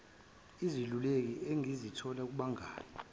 izeluleko engizithola kubangani